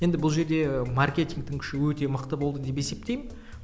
енді бұл жерде і маркетингтің күші өте мықты болды деп есептеймін